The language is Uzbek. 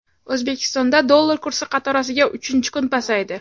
O‘zbekistonda dollar kursi qatorasiga uchinchi kun pasaydi.